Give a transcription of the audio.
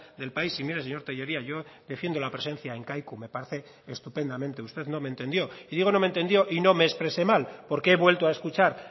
del país y mire señor tellería yo defiendo la presencia en kaiku me parece estupendamente usted no me entendió y digo no me entendió y no me expresé mal porque he vuelto a escuchar